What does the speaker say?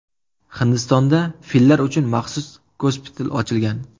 Hindistonda fillar uchun maxsus gospital ochilgan.